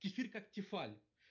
кефир как тефаль